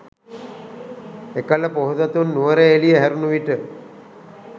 එකල පොහොසතුන් නුවරඑළිය හැරුණු විට